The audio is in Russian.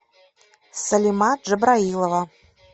салима джабраилова